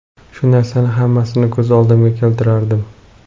Shu narsalarni hammasini ko‘z oldimga keltirardim.